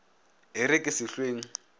e re ke se hlweng